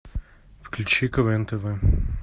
включи квн тв